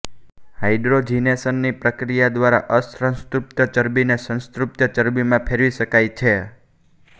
hydrogenation ની પ્રક્રિયાદ્વારા અસંતૃપ્ત ચરબીને સંતૃપ્ત ચરબીમાં ફેરવી શકાય છે